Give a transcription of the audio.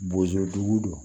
Bozodugu don